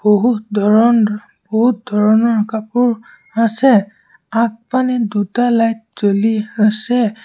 বহু ধৰণ বহুত ধৰণৰ কাপোৰ আছে আগফালে দুটা লাইট জ্বলি আছে।